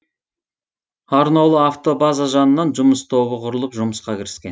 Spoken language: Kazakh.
арнаулы автобаза жанынан жұмыс тобы құрылып жұмысқа кіріскен